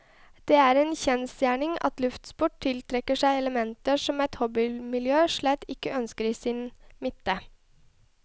Det er en kjensgjerning at luftsport tiltrekker seg elementer som et hobbymiljø slett ikke ønsker i sin midte.